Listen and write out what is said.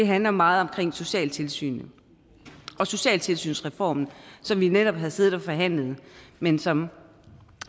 handler meget om socialtilsynet og socialtilsynsreformen som vi netop havde siddet og forhandlet men som